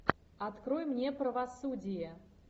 открой мне правосудие